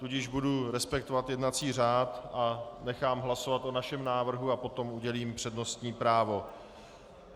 Tudíž budu respektovat jednací řád a nechám hlasovat o vašem návrhu a potom udělím přednostní právo.